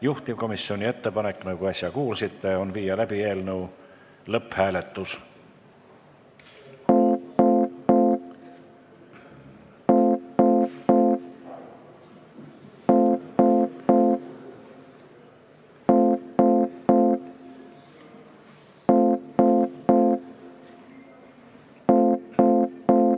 Juhtivkomisjoni ettepanek, nagu äsja kuulsite, on viia läbi eelnõu lõpphääletus.